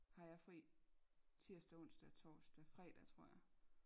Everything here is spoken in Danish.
Har jeg fri tirsdag onsdag og torsdag fredag tror jeg